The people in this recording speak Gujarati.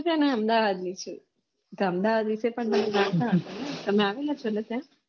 સર હું અમદાવાદ નું તો અમદાવાદ વિષે પણ તમે જાણતા હશો ને તમે આવેલા છો ને ત્યાં